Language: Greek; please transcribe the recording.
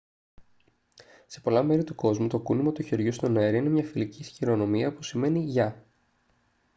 σε πολλά μέρη του κόσμου το κούνημα του χεριού στον αέρα είναι μια φιλική χειρονομία που σημαίνει «γεια»